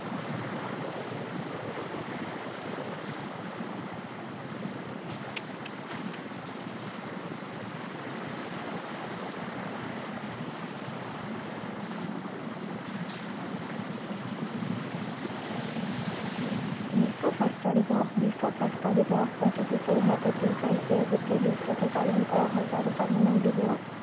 বিশ্ব স্বাস্থ্য দিৱস বিশ্ব স্বাস্থ্য দিৱস প্ৰতি বছৰে সাত এপ্ৰিল তাৰিখে গোটেই বিশ্বতে পালন কৰা হয় সজাগতা মূলক দিৱস